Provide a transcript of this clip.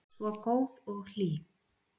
Svo góð og hlý.